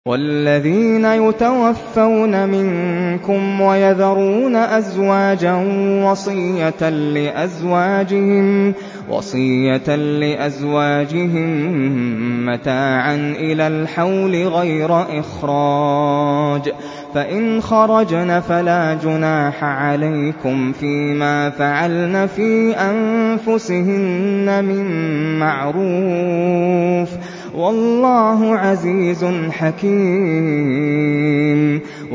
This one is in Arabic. وَالَّذِينَ يُتَوَفَّوْنَ مِنكُمْ وَيَذَرُونَ أَزْوَاجًا وَصِيَّةً لِّأَزْوَاجِهِم مَّتَاعًا إِلَى الْحَوْلِ غَيْرَ إِخْرَاجٍ ۚ فَإِنْ خَرَجْنَ فَلَا جُنَاحَ عَلَيْكُمْ فِي مَا فَعَلْنَ فِي أَنفُسِهِنَّ مِن مَّعْرُوفٍ ۗ وَاللَّهُ عَزِيزٌ حَكِيمٌ